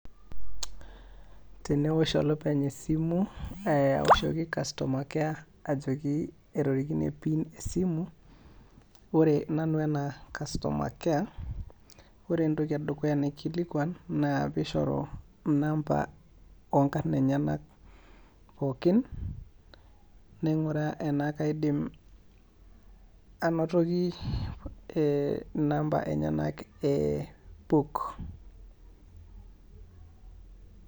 Teneosh olopeny esimu awoshoki customer care ajoki etorikine PIN esimu, ore nanu anaa customer care, ore entoki edukuya naikilikuan naa peishoru inamba oonkarn enyenak pooki, naing'uraa enaa kaidim anotoki inamba enyenak e PUK.